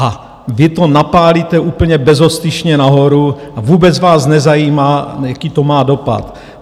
A vy to napálíte úplně bezostyšně nahoru, a vůbec vás nezajímá, jaký to má dopad.